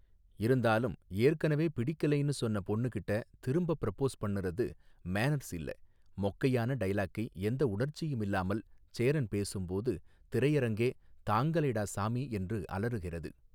இருந்தாலும் ஏற்கனவே பிடிக்கலைனு சொன்ன பொன்னுகிட்ட திரும்ப ப்ரப்போஸ் பன்னுறது மேனர்ஸ் இல்ல மொக்கையான டயலாக்கை எந்த உணர்ச்சியும் இல்லாமல் சேரன் பேசும்போது திரையரங்கே தாங்கலைடா சாமி என்று அலறுகிறது.